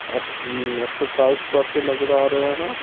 अपउम् exercise करते नजर आ रहे हैं।